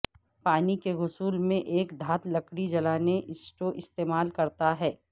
پانی کے غسل میں ایک دھات لکڑی جلانے سٹو استعمال کرتا ہے